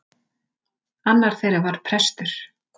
Annar þeirra var prestur.